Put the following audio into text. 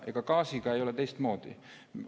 Ega gaasiga ei ole teistmoodi.